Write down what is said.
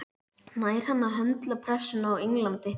Nær hann að höndla pressuna á Englandi?